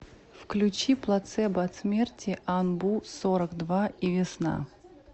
включи плацебо от смерти анбу сорок два и весна